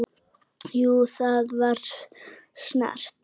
Jú, það var snert